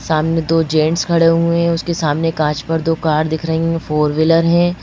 सामने दो जेंट्स खड़े हुए हैं उसके सामने कांच पर दो कार दिख रही है फोर व्हीलर है।